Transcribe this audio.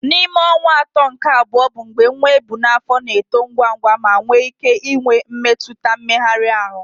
N'ime ọnwa atọ nke abụọ bụ mgbe nwa ebu n'afọ na-eto ngwa ngwa ma nwee ike inwe mmetụta mmegharị ahụ.